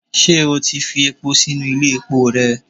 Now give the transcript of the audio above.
ṣe o tí fi epo sinu Ile epó rẹ?